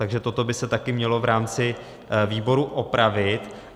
Takže toto by se taky mělo v rámci výboru opravit.